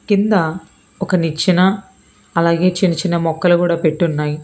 కింద ఒక నిచ్చెన అలాగే చిన్న చిన్న మొక్కలు గుడ పెట్టున్నాయ్.